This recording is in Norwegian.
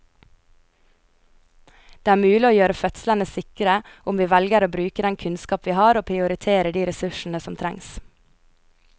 Det er mulig å gjøre fødslene sikre om vi velger å bruke den kunnskapen vi har og prioritere de ressursene som trengs.